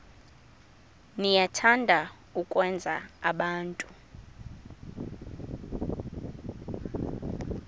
niyathanda ukwenza abantu